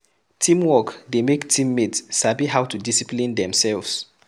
Teamwork dey make team mate sabi how to discipline themselves